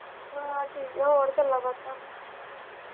ਬਸ ਠੀਕ ਆ ਹੋਰ ਗੱਲਾਂ ਬਾਤਾਂ।